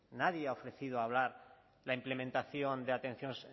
nadie ha ofrecido hablar la implementación de atención